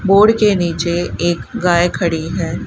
Board के नीचे एक गाय खड़ी है।